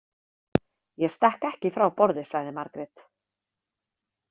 Ég stekk ekki frá borði, sagði Margrét.